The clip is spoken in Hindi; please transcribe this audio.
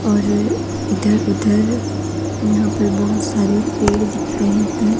और इधर उधर यहां पर बहोत सारे पेड़ दिख रहे हैं।